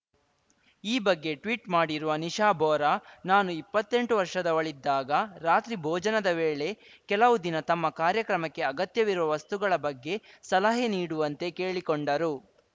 ಈ ಬಗ್ಗೆ ಟ್ವೀಟ್‌ ಮಾಡಿರುವ ನಿಶಾ ಬೋರಾ ನಾನು ಇಪ್ಪತ್ತೆಂಟು ವರ್ಷದವಳಿದ್ದಾಗ ರಾತ್ರಿ ಭೋಜನದ ವೇಳೆ ಕೆಲವು ದಿನ ತಮ್ಮ ಕಾರ್ಯಕ್ರಮಕ್ಕೆ ಅಗತ್ಯವಿರುವ ವಸ್ತುಗಳ ಬಗ್ಗೆ ಸಲಹೆ ನೀಡುವಂತೆ ಕೇಳಿಕೊಂಡರು